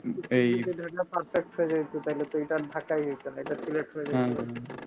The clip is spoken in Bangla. ঢাকা perfect হয়ে যাইতো তাহলে তুমি তো আর ঢাকায় যাইতা না এইটা